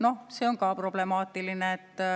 Noh, see on ka problemaatiline.